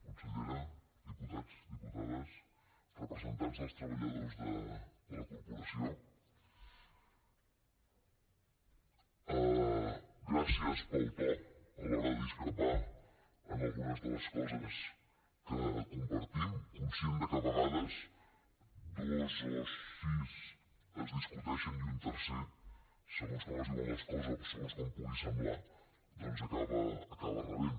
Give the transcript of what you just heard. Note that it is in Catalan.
consellera diputats diputades representants dels treballadors de la corporació gràcies pel to a l’hora de discrepar en algunes de les coses que compartim conscient de que a vegades dos o sis es discuteixen i un tercer segons com es diuen les coses o segons com pugui semblar doncs acaba rebent